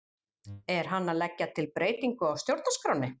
Er hann að leggja til breytingu á stjórnarskránni?